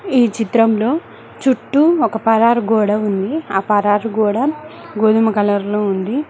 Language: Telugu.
ఈ చిత్రంలో చుట్టూ ఒక పరారు గోడ ఉంది ఆ పరారు గోడ గోధుమ కలర్ లో ఉంది.